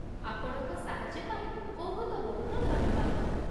ଆପଣଙ୍କ ସାହାଯ୍ୟ ପାଇଁ ବହୁତ ବହୁତ ଧନ୍ୟବାଦ ।